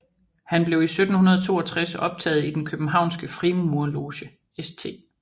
Han blev i 1762 optaget i den københavnske frimurerloge St